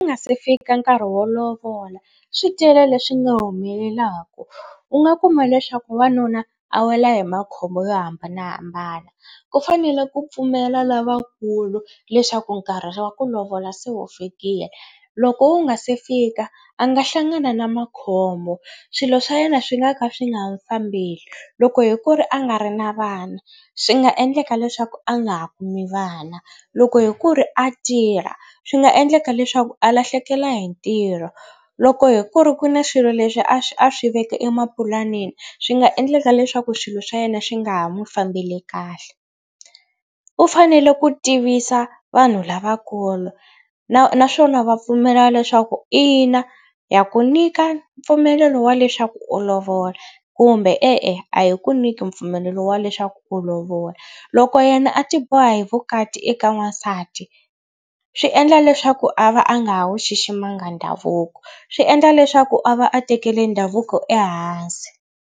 Ku nga se fika nkarhi wo lovola swi tele leswi nga humelelaka u nga kuma leswaku wanuna a wela hi makhombo yo hambanahambana. Ku fanele ku pfumela lavakulu leswaku nkarhi wa ku lovola se wu fikile. Loko wu nga se fika a nga hlangana na makhombo swilo swa yena swi nga ka swi nga fambeli. Loko hi ku ri a nga ri na vana swi nga endleka leswaku a nga ha kumi vana. Loko hi ku ri a tirha swi nga endleka leswaku a lahlekela hi ntirho. Loko hi ku ri ku na swilo leswi a swi a swi veka emapulaneni swi nga endleka leswaku swilo swa yena swi nga ha mu fambeli kahle. U fanele ku tivisa vanhu lavakulu na naswona va pfumela leswaku ina ya ku nyika mpfumelelo wa leswaku u lovola kumbe e-e a hi ku nyika mpfumelelo wa leswaku u lovola. Loko yena a tiboha hi vukati eka n'wansati swi endla leswaku a va a nga ha wu xiximanga ndhavuko swi endla leswaku a va a tekele ndhavuko ehansi.